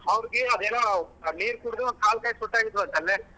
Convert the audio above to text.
ಅವ್ರ್ಕಿ ಅದೇನೋ ಆ ನೀರ್ ಕುಡ್ದು ಕಾಲ್ ಕೈ ಸೊಟ್ಟ ಆಗಿದ್ವಂತಲ್ಲೆ.